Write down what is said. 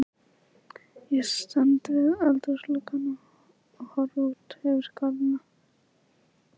Ég stend við eldhúsgluggann og horfi út yfir garðana.